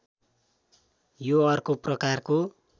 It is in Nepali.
यो अर्को प्रकारको